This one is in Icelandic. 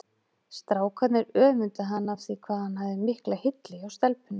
Strákarnir öfunduðu hann af því hvað hann hafði mikla hylli hjá stelpunum.